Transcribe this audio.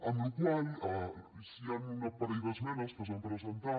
per la qual cosa hi han un parell d’esmenes que s’han presentat